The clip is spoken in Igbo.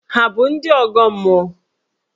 Hà bụ ndị ọgọ mmụọ?